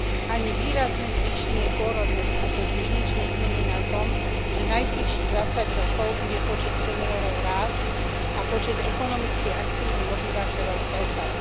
Ani výrazné zvýšenie pôrodnosti totiž nič nezmení na tom, že najbližších 20 rokov bude počet seniorov rásť a počet ekonomicky aktívnych obyvateľov klesať.